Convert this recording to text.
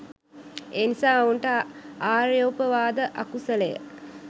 එනිසා ඔවුන්ට ආර්යෝපවාද අකුසලය